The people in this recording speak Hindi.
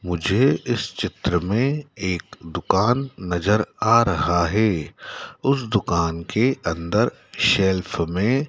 मुझे इस चित्र में एक दुकान नजर आ रहा है उसे दुकान के अंदर शेल्फ में--